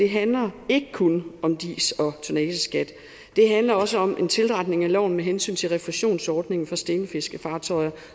handler ikke kun om dis og tonnageskat det handler også om en tilretning af loven med hensyn til refusionsordningen for stenfiskefartøjer